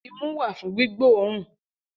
Imú wà fún gbígbóòrùn